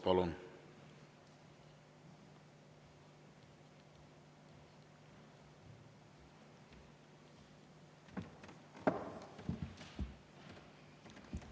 Palun!